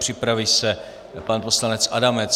Připraví se pan poslanec Adamec.